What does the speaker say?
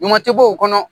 Ɲuman tɛ bɔ o kɔnɔ